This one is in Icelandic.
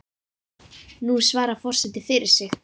Nú svarar forseti fyrir sig.